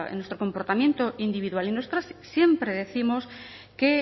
en nuestro comportamiento individual y nosotras siempre décimos que